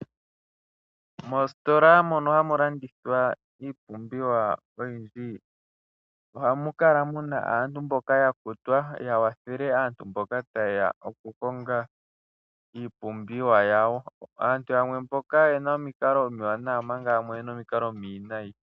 Moositola mono hamu landithwa iipumbiwa oyindji ohamu kala muna aauntu mboka ya kutwa, ya kwathele aantu mboka taye ya okukonga iipumbiwa yawo. Aantu yamwe mboka oyena omikalo omiwanawa omanga yamwe oyena omikalo omiwinayi.